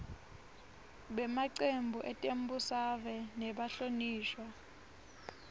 bemacembu etembusave nebahlonishwa